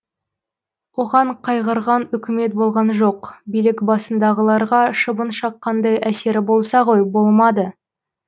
оған қайғырған үкімет болған жоқ билік басындағыларға шыбын шаққандай әсері болса ғой болмады